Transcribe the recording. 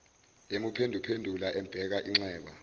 emuphenduphendula embheka inxeba